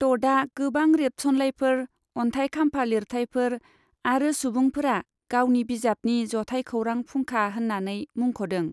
ट'डआ गोबां रेबस'नलाइफोर, अन्थाइ खाम्फा लिरथाइफोर आरो सुबुंफोरा गावनि बिजाबनि जथाइ खौरां फुंखा होननानै मुंख'दों।